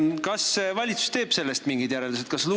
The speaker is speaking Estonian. Kas valitsus teeb sellest mingid järeldused?